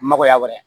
Makoya wɛrɛ